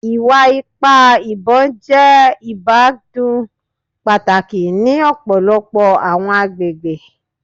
Iwa-ipa ibon jẹ ibakcdun pataki ni ọpọlọpọ awọn agbegbe